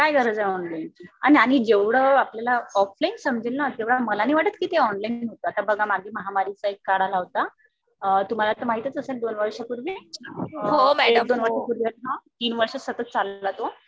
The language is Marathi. काय गरज आहे ऑनलाईन ची? आणि जेवढं आपल्याला ऑफलाईन समजेल ना तेवढं मला नाही वाटत ऑनलाईन समजेल. आता बघा मागे महामारीचा एक काळ आला होता. तुम्हाला तर माहीतच असेल दोन वर्षांपूर्वी, एक दोन वर्षांपूर्वी तीन वर्ष सतत चालला तो.